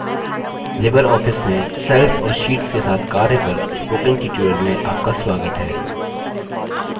Libre office में cells और sheets के साथ कार्य पर spoken tutorial में आपका स्वागत है